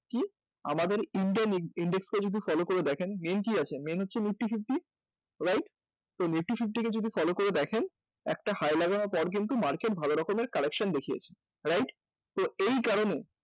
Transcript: আমাদের index টা যদি follow করে দেখেন main কী আছে? main হচ্ছে নিফটি ফিফটি right? তো নিফটি ফিফটিকে যদি follow করে দেখেন একটা হায় লাগানোর পরে কিন্তু market ভালো রকমের collection দেখিয়েছে right? তো এই কারণে